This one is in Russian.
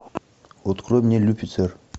открой мне люцифер